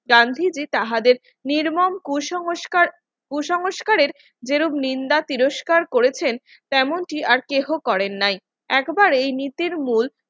গান্ধীজি তাহাদের নির্মম কুসংস্কার কুসংস্কারের যে রোগ নিন্দা তিরস্কার করেছেন তেমনটি আর কেহ করেন নাই একেবারেই নীতির মূল